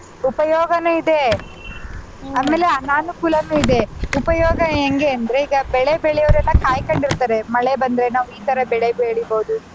ಉಪಯೋಗನೂ ಇದೆ ಆಮೇಲೆ ಅನಾನೂಕುಲಾನು ಇದೆ ಉಪಯೋಗ ಎಂಗೆ ಅಂದ್ರೆ ಈಗ ಬೆಳೆ ಬೆಳೆಯೊರೆಲ್ಲ ಕಾಯ್ಕೊಂಡಿರ್ತಾರೆ ಮಳೆ ಬಂದ್ರೆ ನಾವು ಇತರ ಬೆಳೆ ಬೆಳಿಬೋದು.